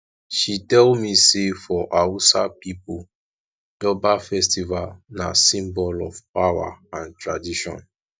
she tell me sey for hausa pipo durbar festival na symbol of power and tradition